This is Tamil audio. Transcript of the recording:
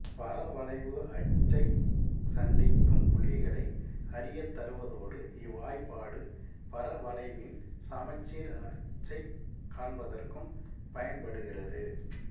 பரவளைவு அச்சைச் சந்திக்கும் புள்ளிகளை அறியத்தருவதோடு இவ்வாய்பாடு பரவளைவின் சமச்சீர் அச்சைக் காண்பதற்கும் பயன்படுகிறது